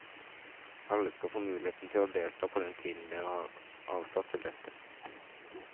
Alle skal få muligheten til å delta på den tiden dere har avsatt til dette.